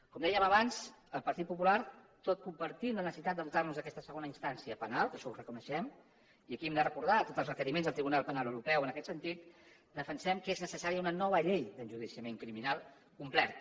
com dèiem abans el partit popular tot compartint la necessitat de dotar nos d’aquesta segona instància penal que això ho reconeixem i aquí hem de recordar tots els requeriments del tribunal penal europeu en aquest sentit defensem que és necessària una nova llei d’enjudiciament criminal completa